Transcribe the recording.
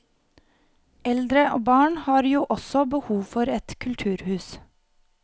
Eldre og barn har jo også behov for et kulturhus.